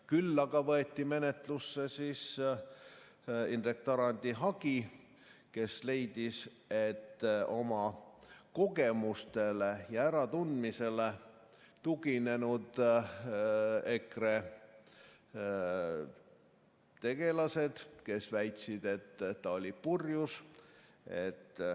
Küll aga võeti menetlusse Indrek Tarandi hagi, kes leidis, et see on vale, kui oma kogemustele ja äratundmisele tuginenud EKRE tegelased väitsid, et ta oli purjus.